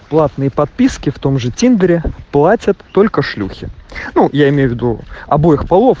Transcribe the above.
платные подписки в том же тиндере платят только шлюхи я имею в виду обоих полов